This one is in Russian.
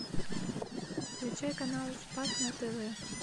включай канал спас на тв